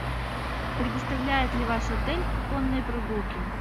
предоставляет ли ваш отель конные прогулки